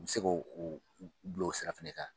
I be k'o o bila o sira fɛnɛ kan